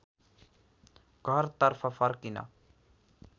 घरतर्फ फर्किन